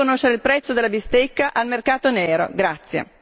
Aspetterò il momento di conoscere il prezzo della bistecca al mercato nero!